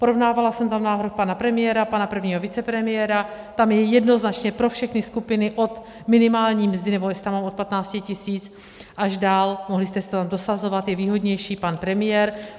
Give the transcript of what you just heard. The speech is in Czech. Porovnávala jsem tam návrh pana premiéra, pana prvního vicepremiéra, tam je jednoznačně pro všechny skupiny od minimální mzdy - nebo jestli tam mám od 15 000 - až dál, mohli jste si tam dosazovat, je výhodnější pan premiér.